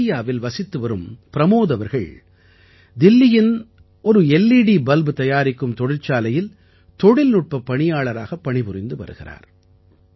பேதியாவில் வசித்துவரும் ப்ரமோத் அவர்கள் தில்லியின் எல்இடி பல்ப் தயாரிக்கும் தொழிற்சாலையில் தொழில்நுட்பப் பணியாளராகப் பணிபுரிந்து வருகிறார்